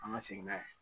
An ka segin n'a ye